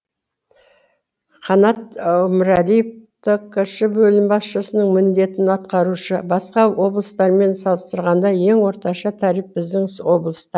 қанат өмірәлиев ткш бөлімі басшысының міндетін атқарушы басқа облыстармен салыстырғанда ең орташа тариф біздің облыста